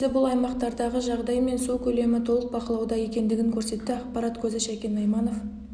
мұның нәтижесі бұл аймақтардағы жағдай мен су көлемі толық бақылауда екендігін көрсетті ақпарат көзі шәкен айманов